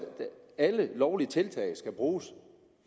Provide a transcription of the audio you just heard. at alle lovlige tiltag skal bruges